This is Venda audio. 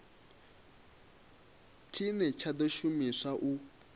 tshine tsha ḓo shumiswa u